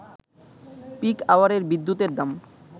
pick আওয়ারের বিদ্যুতের দাম